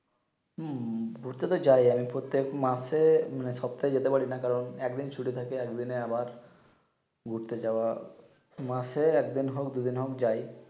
হম ঘুরতে তো যাই প্রত্যেক মাসে মানে সপ্তাহে যেতে পারি না কারন একদিন ছুটি থাকে একদিনে আবার ঘুরতে যাওয়া মাসে একদিন হক দুই দিন হক যাই